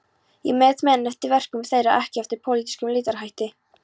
Ég met menn eftir verkum þeirra, ekki eftir pólitískum litarhætti.